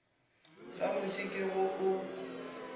sa muši ke go o